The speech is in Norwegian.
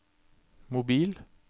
mobil